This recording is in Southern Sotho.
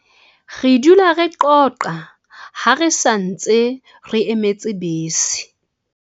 Re dula re qoqa ha re sa ntse re emetse bese.